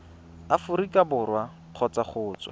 aforika borwa kgotsa go tswa